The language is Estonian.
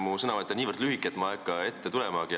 Mu sõnavõtt on niivõrd lühike, et ma ei hakka sinna ette minemagi.